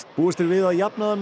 búist er við að jafnaðarmenn